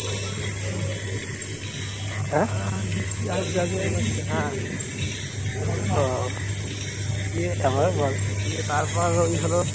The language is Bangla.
দিয়ে তারপর ওই হলো